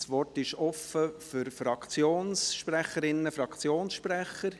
Das Wort ist offen für Fraktionssprecherinnen, Fraktionssprecher.